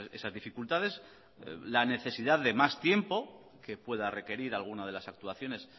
esas dificultades la necesidad de más tiempo que pueda requerir alguna de las actuaciones